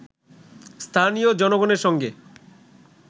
স্থানীয় জনগণের সঙ্গে